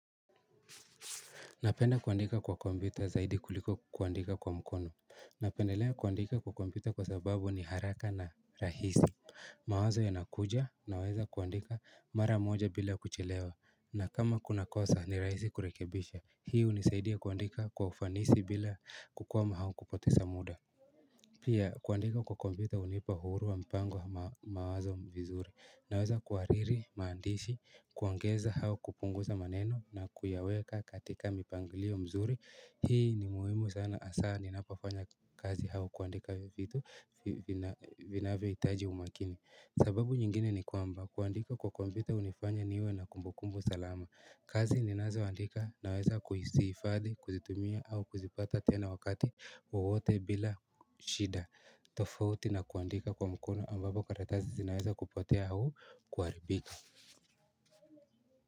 Napenda kuandika kwa kompyuta zaidi kuliko kuandika kwa mkono Napendelea kuandika kwa kompyuta kwa sababu ni haraka na rahisi mawazo yanakuja naweza kuandika mara moja bila kuchelewa na kama kuna kosa ni rahisi kurekebisha Hii hunisaidi kuandika kwa ufanisi bila kukwama hau kupoteza muda Pia kuandika kwa kompyuta hunipa uhuru wa mpango mawazo vizuri Naweza kuwariri, maandishi, kuongeza hau kupunguza maneno na kuyaweka katika mipangilio mzuri Hii ni muhimu sana asaa ninapafanya kazi hau kuandika vitu vinavyo hitaji umakini sababu nyingine ni kwamba kuandika kwa kompyuta hunifanya niwe na kumbukumbu salama kazi ninazoandika naweza kuhisifadhi, kuzitumia au kuzipata tena wakati wote bila shida tofauti nakuandika kwa mkono ambapo karatasi zinaweza kupotea au kuharibika.